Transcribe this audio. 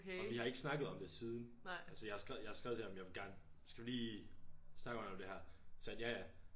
Og vi har ikke snakket om det siden altså jeg har skrevet jeg har skrevet til ham jeg vil gerne skal vi lige snakke om det her sagde han ja ja